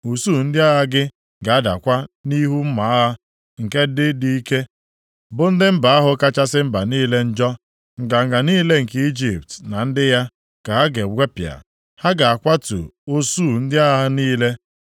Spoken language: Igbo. Usuu ndị agha gị ga-adakwa nʼihu mma agha nke ndị dị ike, bụ ndị mba ahụ kachasị mba niile njọ. Nganga niile nke Ijipt na ndị ya, ka ha ga-egwepịa. Ha ga-akwatu usuu ndị agha ha niile.